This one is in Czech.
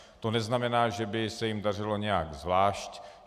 To neznamená, že by se jim dařilo nějak zvlášť.